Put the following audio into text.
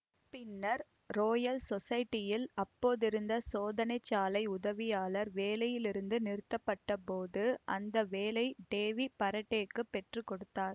பின்னர் ரோயல் சொசைட்டியில் அப்போதிருந்த சோதனைச்சாலை உதவியாளர் வேலையிலிருந்து நிறுத்தப்பட்டபோது அந்த வேலையை டேவி பரடேக்குப் பெற்றுக்கொடுத்தார்